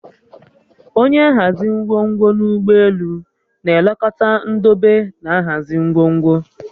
Onye nhazi ngwongwo n'ụgbọelu na-elekọta ndobe na nhazi ngwongwo